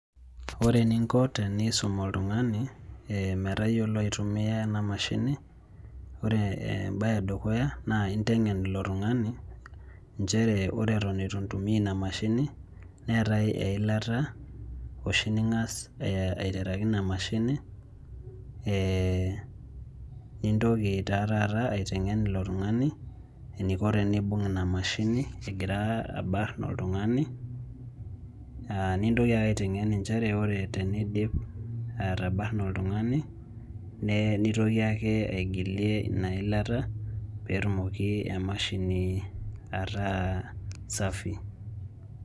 Ore eninko tenisum oltung'ani metayiolo aitumia ena mashini. Ore ebaye edukuya naa inteng'en ilo tung'ani nchere ore eton eitu intumia ina mashini neetai eilata oshi ning'as aiteraki ina mashini nintoki taa taat aiteng'en ilo tung'ani eniko teneibung' ina mashini egira alo abarn oltung'ani. Nintoki ake aiteng'en inchere ore teneidip atabarna oltung'ani nitoki ake aigilie ina ilata peetumoki emashini ataa safi.